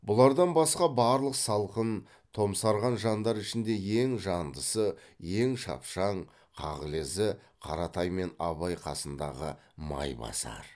бұлардан басқа барлық салқын томсарған жандар ішінде ең жандысы ең шапшаң қағылезі қаратай мен абай қасындағы майбасар